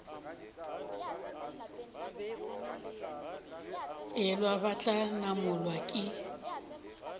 elwa ba tla namolwa ke